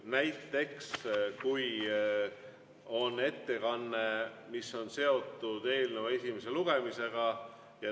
Näiteks kui on ettekanne, mis on seotud eelnõu esimese lugemisega.